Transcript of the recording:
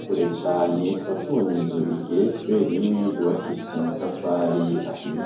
kure cane tukaba tubona inzu igeretswe rimwe yubakishije amatafari ahiye.